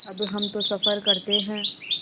अब हम तो सफ़र करते हैं